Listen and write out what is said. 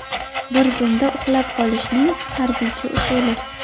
Bir zumda uxlab qolishning harbiycha usuli.